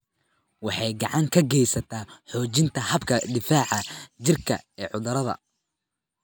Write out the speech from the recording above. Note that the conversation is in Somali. Waxay gacan ka geysataa xoojinta habka difaaca jirka ee cudurrada.